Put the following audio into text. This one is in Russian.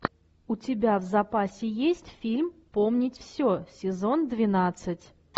у тебя в запасе есть фильм помнить все сезон двенадцать